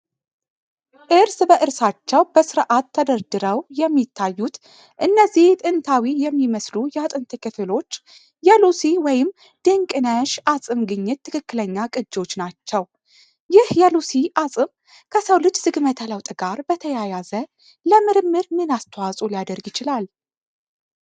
እርስ በእርሳቸው በስርዓት ተደርድረው የሚታዩት እነዚህ ጥንታዊ የሚመስሉ የአጥንት ክፍሎች የሉሲ (ዲንቀነሽ) አፅም ግኝት ትክክለኛ ቅጂዎች ናቸው፤ ይህ የሉሲ አፅም ከሰው ልጅ ዝግመተ ለውጥ ጋር በተያያዘ ለምርምር ምን አስተዋጽኦ ሊያደርግ ይችላል?